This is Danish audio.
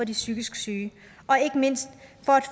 de psykisk syge ikke mindst